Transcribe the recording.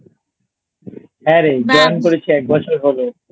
হ্যাঁ রে Join করেছি এক বছর হল